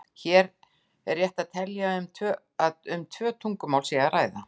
Hér er rétt að telja að um tvö tungumál sé að ræða.